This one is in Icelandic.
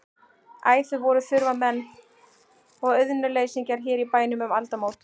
Æ, þau voru þurfamenn og auðnuleysingjar hér í bænum um aldamót.